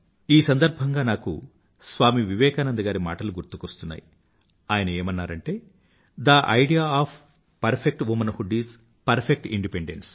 ఈ సందర్భంగా నాకు స్వామీ వివేకానంద గారి మాటలు గుర్తువస్తున్నాయి ఆయన ఏమన్నారంటే the idea of perfect womanhood is perfect independence